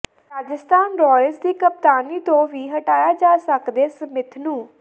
Rajasthan Royals ਦੀ ਕਪਤਾਨੀ ਤੋਂ ਵੀ ਹਟਾਇਆ ਜਾ ਸਕਦੈ ਸਮਿਥ ਨੂੰ